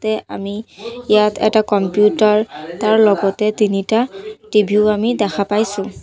তে আমি ইয়াত এটা কম্পিউটাৰ তাৰ লগতে তিনিটা টি_ভি ও আমি দেখা পাইছোঁ।